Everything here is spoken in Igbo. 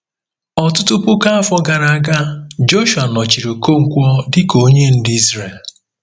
Ọtụtụ puku afọ gara aga, Jọshụa nọchiri Okonkwo dị ka onye ndu Izrel.